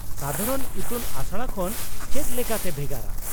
-ᱥᱟᱫᱷᱟᱨᱚᱱ ᱤᱛᱩᱱ ᱟᱥᱲᱟ ᱠᱷᱚᱱ ᱪᱮᱫ ᱞᱮᱠᱟᱛᱮ ᱵᱷᱮᱜᱟᱨᱟ ?